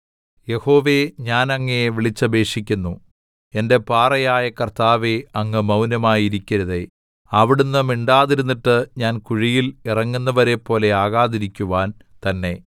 യഹോവേ ഞാൻ അങ്ങയെ വിളിച്ചപേക്ഷിക്കുന്നു എന്റെ പാറയായ കർത്താവേ അങ്ങ് മൗനമായി ഇരിക്കരുതേ അവിടുന്ന് മിണ്ടാതിരുന്നിട്ട് ഞാൻ കുഴിയിൽ ഇറങ്ങുന്നവരെപ്പോലെ ആകാതിരിക്കുവാൻ തന്നെ